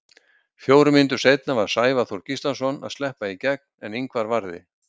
Fjórum mínútum seinna var Sævar Þór Gíslason að sleppa í gegn, en Ingvar varði.